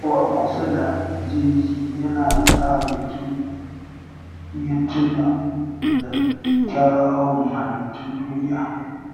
Yawo a kusa da jeji yana sa mutum ya tuna da kyawun halittun duniya.